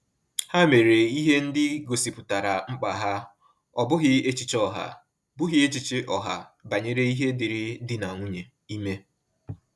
Ha mere ihe ndị gosipụtara mkpa ha, ọ bụghị echiche ọha bụghị echiche ọha banyere ihe dịri dị na nwunye ime